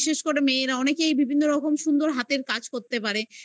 করে মেয়েরা অনেকেই বিভিন্ন রকম সুন্দর হাতের কাজ করতে পারে